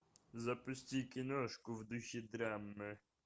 запусти киношку в духе драмы